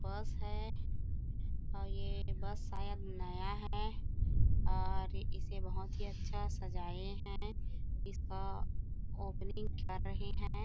बस हैं और ये बस शायद नया हैं और इसे बहोत ही अच्छा सजाये हैं इसका ओपनिंग कर रहे हैं।